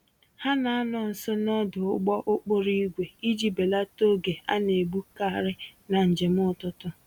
Ha na-anọ nso n'ọdụ ụgbọ-okporo-ígwè iji belata oge a naegbu karị na njem ụtụtụ